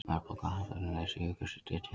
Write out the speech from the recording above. Verðbólga og atvinnuleysi jukust í Tékklandi